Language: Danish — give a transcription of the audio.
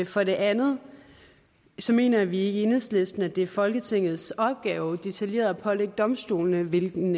for det andet mener vi ikke i enhedslisten at det er folketingets opgave detaljeret at pålægge domstolene hvilken